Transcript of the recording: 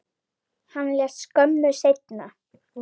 Hann lést skömmu seinna.